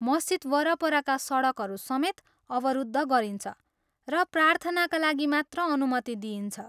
मस्जिद वरपरका सडकहरू समेत अवरुद्ध गरिन्छ र प्रार्थनाका लागि मात्र अनुमति दिइन्छ।